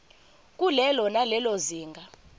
kulelo nalelo zinga